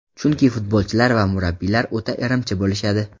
Chunki futbolchilar va murabbiylar o‘ta irimchi bo‘lishadi.